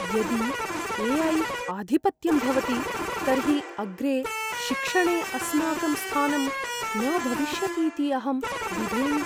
यदि ए.ऐ. आधिपत्यं भवति तर्हि अग्रे शिक्षणे अस्माकं स्थानं न भविष्यतीति अहं बिभेमि।